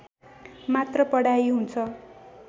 मात्र पढाइ हुन्छ